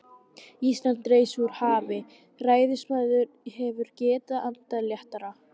Ísland reis úr hafi, ræðismaðurinn hefur getað andað léttara.